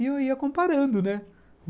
E eu ia comparando, né?